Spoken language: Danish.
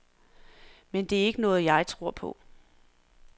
Men det er ikke noget, jeg tror på.